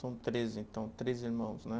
São três então, três irmãos, né?